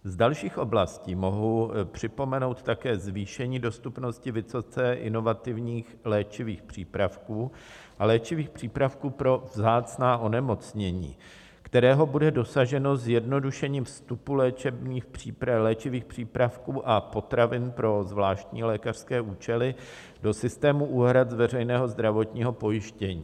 Z dalších oblastí mohu připomenout také zvýšení dostupnosti vysoce inovativních léčivých přípravků a léčivých přípravků pro vzácná onemocnění, kterého bude dosaženo zjednodušením vstupu léčivých přípravků a potravin pro zvláštní lékařské účely do systému úhrad z veřejného zdravotního pojištění.